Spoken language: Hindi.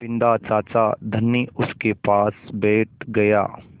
बिन्दा चाचा धनी उनके पास बैठ गया